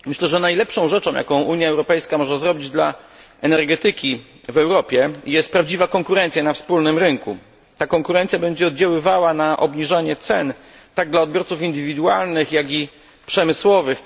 Panie Ministrze! Panie Komisarzu! Myślę, że najlepszą rzeczą, jaką Unia Europejska może zrobić dla energetyki w Europie jest prawdziwa konkurencja na wspólnym rynku. Ta konkurencja będzie oddziaływała na obniżanie cen tak dla odbiorców indywidualnych, jak i przemysłowych.